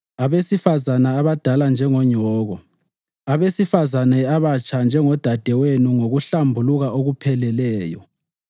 abesifazane abadala njengonyoko, abesifazane abatsha njengodadewenu ngokuhlambuluka okupheleleyo.